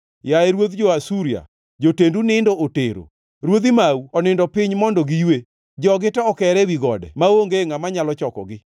Yaye ruodh jo-Asuria, jotendu nindo otero; ruodhi mau onindo piny mondo giywe. Jogi to okere ewi gode maonge ngʼama nyalo chokogi.